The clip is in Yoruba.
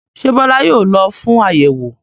Ṣé Bọ́lá yóò lọ fún àyẹ̀wò?